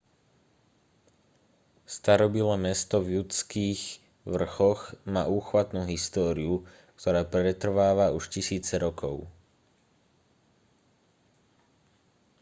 starobylé mesto v judských vrchoch má úchvatnú históriu ktorá pretrváva už tisíce rokov